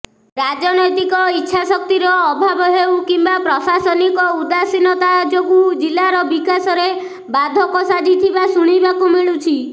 ରାଜନୈତିକ ଇଚ୍ଛାଶକ୍ତିର ଅଭାବ ହେଉ କିମ୍ବା ପ୍ରଶାସନିକ ଉଦାଷୀନତା ଯୋଗୁ ଜିଲ୍ଲାର ବିକାଶରେ ବାଧକ ସାଜିଥିବା ଶୁଣିବାକୁ ମିଳୁଛି